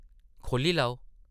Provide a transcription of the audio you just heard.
खोह्ल्ली लैओ ।